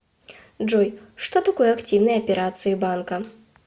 джой что такое активные операции банка